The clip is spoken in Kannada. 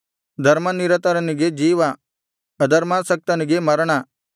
ಧರ್ಮನಿರತನಿಗೆ ಜೀವ ಅಧರ್ಮಾಸಕ್ತನಿಗೆ ಮರಣ